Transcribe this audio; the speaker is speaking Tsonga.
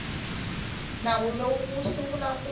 nawu lowu wu sungula ku